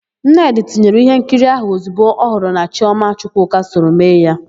Nnedị tinyere íhénkiri áhụ̀ ozigbo ọ hụrụ na Chiọma Chukwuka soro mee ya.